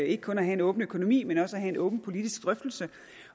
ikke kun at have en åben økonomi men også at have en åben politisk drøftelse